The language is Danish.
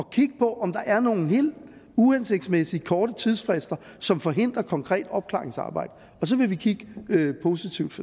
kigge på om der er nogle helt uhensigtsmæssigt korte tidsfrister som forhindrer konkret opklaringsarbejde og så vil vi kigge positivt